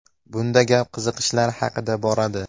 Bunda gap qiziqishlar haqida boradi.